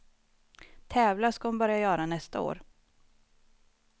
Tävla ska hon börja göra nästa år.